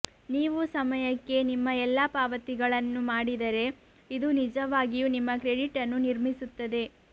ನೀವು ಸಮಯಕ್ಕೆ ನಿಮ್ಮ ಎಲ್ಲಾ ಪಾವತಿಗಳನ್ನು ಮಾಡಿದರೆ ಇದು ನಿಜವಾಗಿಯೂ ನಿಮ್ಮ ಕ್ರೆಡಿಟ್ ಅನ್ನು ನಿರ್ಮಿಸುತ್ತದೆ